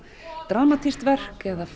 dramatískt verk eða